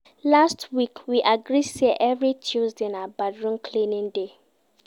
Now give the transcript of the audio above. Last week, we agree sey every Tuesday na bathroom cleaning day.